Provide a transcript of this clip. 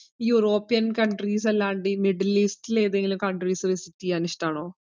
European countries അല്ലാണ്ട് ഈ middle ഈസ്റ്റില്ല് ഏതെങ്കിലും countries visit എയ്യാൻ ഇഷ്ടാണോ?